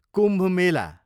Kumbh Mela